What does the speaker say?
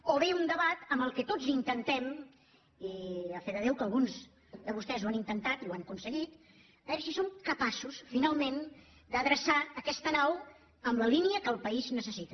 o bé un debat amb el qual tots intentem i a fe de déu que alguns de vostès ho han intentat i ho han aconseguit a veure si som capaços finalment d’adreçar aquesta nau en la línia que el país necessita